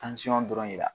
dɔrɔn de la